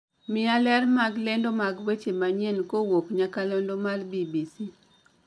Mia ler mag lendo mag weche manyien kuwuok nyakalondo mar b.b.c